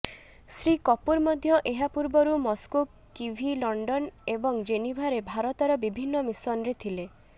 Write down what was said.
ଶ୍ରୀ କପୂର ମଧ୍ୟ ଏହା ପୂର୍ବରୁ ମସ୍କୋ କିଭି ଲଣ୍ଡନ ଏବଂ ଜେନିଭାରେ ଭାରତର ବିଭିନ୍ନ ମିଶନରେ ଥିଲେ